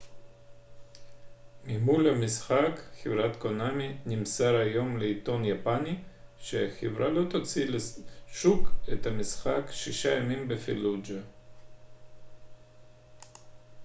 ממו ל המשחק חב' קונאמי נמסר היום לעיתון יפני שהחברה לא תוציא לשוק את המשחק שישה ימים בפלוג'ה